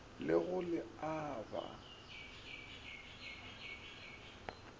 le go le a ba